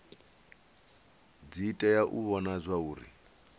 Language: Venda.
dzi tea u vhona zwauri